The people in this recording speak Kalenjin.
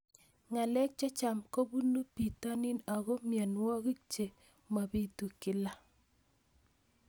Ng'alek chechang' kopunu pitonin ako mianwogik che mapitu kila